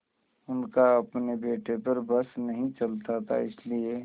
उनका अपने बेटे पर बस नहीं चलता था इसीलिए